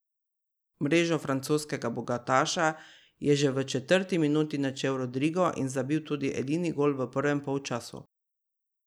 Mrežo francoskega bogataša je že v četrti minuti načel Rodrigo in zabil tudi edini gol v prvem polčasu.